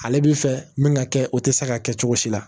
Ale bi fɛ min ka kɛ o tɛ se ka kɛ cogo si la